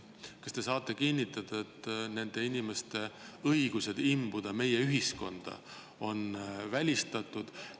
Kas te saate kinnitada, et nende inimeste õigus imbuda meie ühiskonda on välistatud?